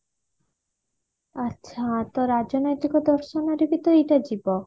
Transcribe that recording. ଆଛା ତ ରାଜନୈତିକ ଦର୍ଶନରେ ବି ତ ଏଇଟା ଯିବ